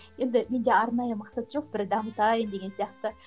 енді менде арнайы мақсат жоқ бір дамытайын деген сияқты